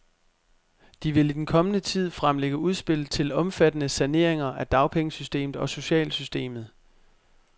De vil i den kommende tid fremlægge udspil til omfattende saneringer af dagpengesystemet og socialsystemet.